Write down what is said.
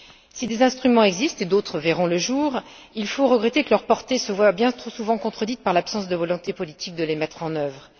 Si des instruments existent, et d'autres verront le jour, il faut regretter que leur portée se voie bien trop souvent contredite par l'absence de volonté politique de les mettre en œuvre